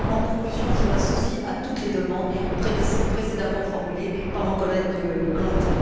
En conclusion, je m'associe à toutes les demandes précédemment formulées par mon collègue Glante.